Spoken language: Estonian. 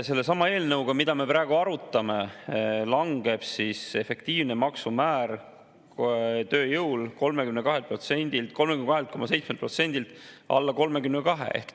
Sellesama eelnõuga, mida me praegu arutame, langeb efektiivne maksumäär tööjõul 32,7%-lt alla 32%.